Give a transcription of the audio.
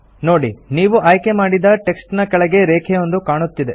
ನೋಡಿ ನೀವು ಆಯ್ಕೆ ಮಾಡಿದ ಟೆಕ್ಸ್ಟ್ ನ ಕೆಳಗೆ ರೇಖೆಯೊಂದು ಕಾಣುತ್ತಿದೆ